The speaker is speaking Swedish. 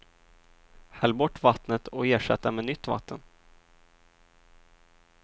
Häll bort vattnet och ersätt det med nytt vatten.